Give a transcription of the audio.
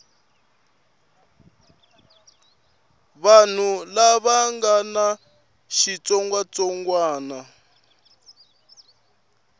vanhu lava nga na xitsongwatsongwana